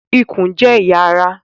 Ikùn jẹ́ ẹ̀yà ará